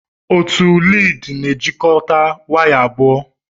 Otu lịdị na-ejikọta waya abụọ.